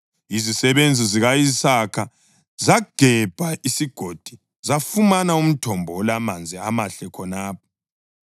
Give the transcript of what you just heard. Izisebenzi zika-Isaka zagebha esigodini zafumana umthombo olamanzi amahle khonapho.